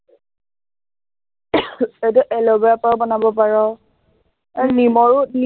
এইটো aloe vera ৰ পৰাও বনাব পাৰ এৰ নিমৰো